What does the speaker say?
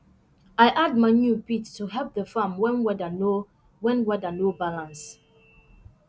i add manure pit to help the farm when weather no when weather no balance